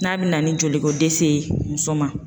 N'a bɛna ni joli ko dɛsɛ ye muso ma